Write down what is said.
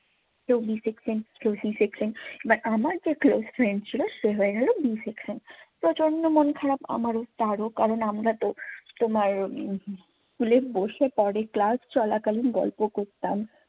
কেউ b section কেউ c section but আমার যে close friend ছিল সে হয়ে গেল b section প্রচন্ড মন খারাপ আমারও, তারও। কারণ, আমরা তো তোমার school এ বসে পরে class চলাকালীন গল্প করতাম।